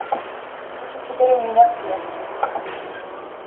ты тут теперь у меня в клетке